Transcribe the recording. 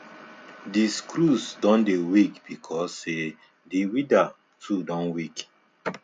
the screws don dey weak because say the weeder too don weak